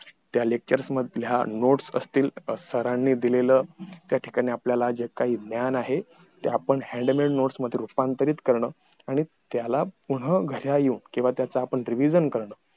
त्या lectures मधल्या nots असतील तर suddenly दिलेलं त्या ठिकाणी आपल्यला जे काही ज्ञान आहे ते आपण hillary nots मध्ये रुपांतरीत करणं आणि त्याला पुनः घड्यालो किंवा त्याच आपण revision करणं